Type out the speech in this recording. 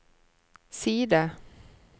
side